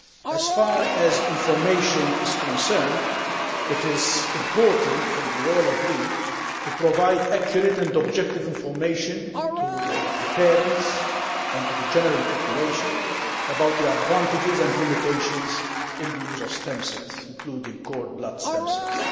As far as information is concerned, it is important as we all agree to provide accurate and objective information to parents and to the general public about the advantages and limitations of the use of stem cells, including cord blood stem cells.